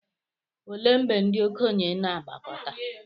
olee mgbe ndị okenye na-agbakọta